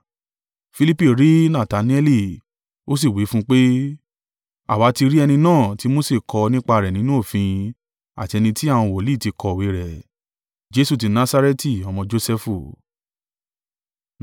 Filipi rí Natanaeli, ó sì wí fún un pé, “Àwa ti rí ẹni náà tí Mose kọ nípa rẹ̀ nínú òfin àti ẹni tí àwọn wòlíì ti kọ̀wé rẹ̀, Jesu ti Nasareti, ọmọ Josẹfu.”